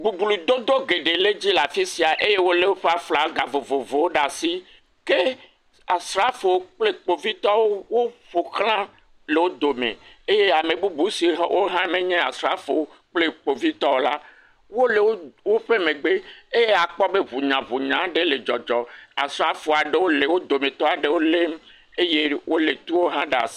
Boblododo geɖe le edzi le afi sia eye wole woƒe aflaga vovovowo ɖe asi. Ke asrafowo kple kpovitɔwo woƒoxla le wo dome. Eye ame bubu siwo ha wohã menye asrafowo o kple kpovitɔwo o la wole wo woƒe megbe eye akpɔ gbe be hũnyahũnyawo aɖe le dzɔdzɔm. Asrafo aɖewo le wo dometɔ aɖewo lém eye wole tuwo hã ɖe asi.